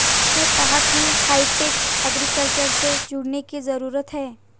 उन्होंने कहा कि हाईटेक एग्रीकल्चर से जुडऩे की जरूरत है